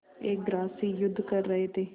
एक ग्रास से युद्ध कर रहे थे